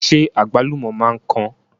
Ṣé àgbálùmọ̀ máa ń kan?